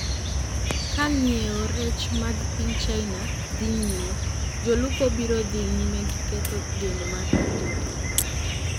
Ka ng'iewo rech mag piny China dhi nyime...jolupo biro dhi nyime gi ketho geno mar tijegi,